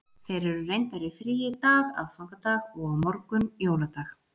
Þeir eru reyndar í fríi í dag, aðfangadag, og á morgun, jóladag.